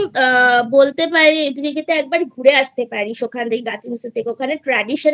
বলতে পারি তুই ওখান থেকে একবার ঘুরে আস্তে পারিস Gatims এর থেকে ওখানে